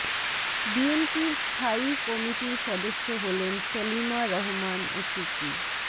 বিএনপির স্থায়ী কমিটির সদস্য হলেন সেলিমা রহমান ও টুকু